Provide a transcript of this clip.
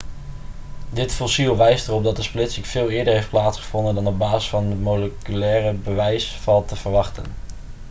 dit fossiel wijst erop dat de splitsing veel eerder heeft plaatsgevonden dan op basis van het moleculaire bewijs valt te verwachten